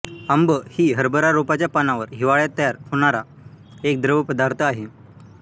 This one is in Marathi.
आंब ही हरभरा रोपाच्या पानावर हिवाळ्यात तयार होणारा एक द्रव पदार्थ आहे